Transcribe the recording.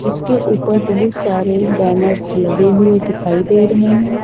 इसके ऊपर बहुत सारे बैनर्स लगे हुए दिखाई दे रहे हैं।